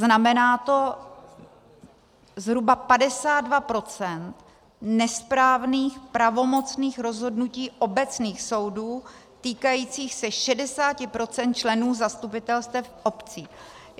Znamená to zhruba 52 % nesprávných pravomocných rozhodnutí obecných soudů týkajících se 60 % členů zastupitelstev obcí.